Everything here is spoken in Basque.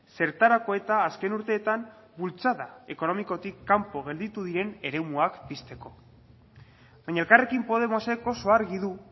zertarako eta azken urteetan bultzada ekonomikotik kanpo gelditu diren eremuak pizteko baina elkarrekin podemosek oso argi du